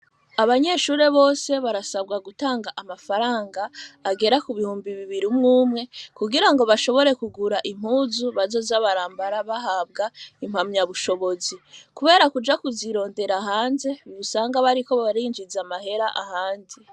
Abanyeshure bose, barasabwa gutanga amafaranga agera ku bihumbi bibiri, umwe umwe; kugira ngo, bashobore kugura impuzu, bazoza barambara, bahabwa impamyabushobozi; kubera kuja kuzirondera hanze, usanga bariko barinjiza amahera ahandi.